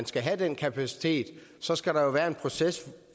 skal have den kapacitet så skal der være en proces